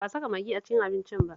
Ba a saka magi a cikin abincin ba